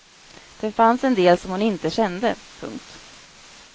Det fanns en del som hon inte kände. punkt